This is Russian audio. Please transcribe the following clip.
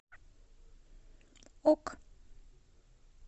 ок